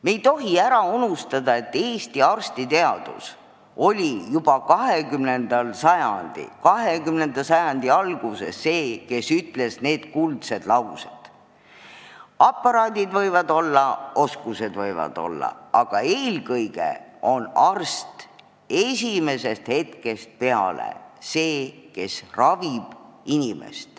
Me ei tohi ära unustada, et Eesti arstiteaduses öeldi juba 20. sajandi alguses need kuldsed sõnad: aparaadid võivad olla, oskused võivad olla, aga eelkõige on arst esimesest hetkest peale see, kes inimest ravib.